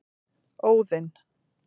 Óðinn